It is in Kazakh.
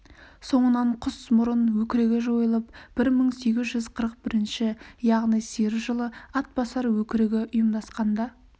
соңынан құсмұрын өкірігі жойылып бір мың сегіз жүз қырық бірінші яғни сиыр жылы атбасар өкірігі ұйымдасқанда